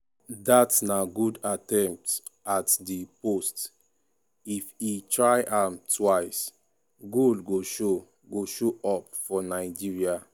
dat na good attempt at di post if e try am twixe goal go show go show up for nigeria.